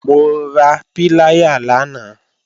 Mo ra píláyà lánàá